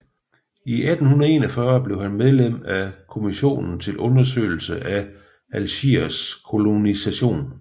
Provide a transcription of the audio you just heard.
I 1841 blev han medlem af en kommission til undersøgelse af Algiers kolonisation